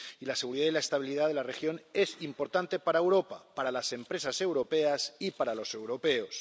Y la seguridad y la estabilidad de la región es importante para Europa, para las empresas europeas y para los europeos.